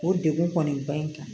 O degun kɔni ba in kan